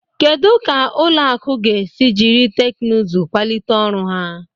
Kedu ka ụlọ akụ ga-esi jiri teknụzụ kwalite ọrụ ha?